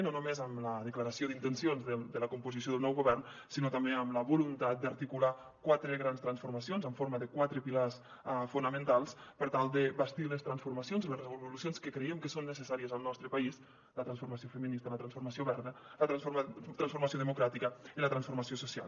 no només amb la declaració d’intencions de la composició del nou govern sinó també amb la voluntat d’articular quatre grans transformacions en forma de quatre pilars fonamentals per tal de bastir les transformacions i les revolucions que creiem que són necessàries al nostre país la transformació feminista la transformació verda la transformació democràtica i la transformació social